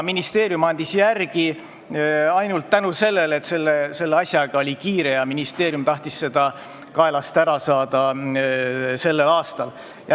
Ministeerium andis järele ainult tänu sellele, et selle asjaga oli kiire ja ministeerium tahtis seda sellel aastal kaelast ära saada.